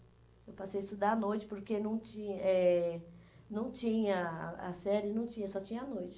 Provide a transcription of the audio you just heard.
Eu passei a estudar à noite, porque não tinha eh não tinha a a série, não tinha, só tinha a noite.